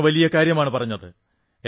അങ്ങ് വലിയ കാര്യമാണു പറഞ്ഞത്